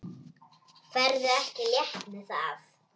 Ferðu ekki létt með það?